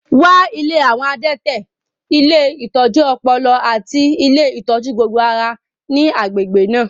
Wá ilé àwọn adẹ́tẹ̀, ilé ìtọ́jú ọpọlọ, àti ilé ìtọ́jú gbogbo ara ní agbègbè náà